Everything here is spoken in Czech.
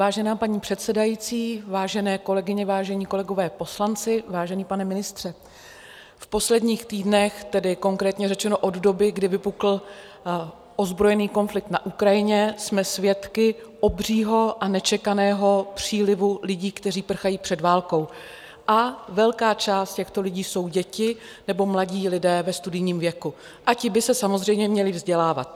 Vážená paní předsedající, vážené kolegyně, vážení kolegové poslanci, vážený pane ministře, v posledních týdnech, tedy konkrétně řečeno od doby, kdy vypukl ozbrojený konflikt na Ukrajině, jsme svědky obřího a nečekaného přílivu lidí, kteří prchají před válkou, a velká část těchto lidí jsou děti nebo mladí lidé ve studijním věku a ti by se samozřejmě měli vzdělávat.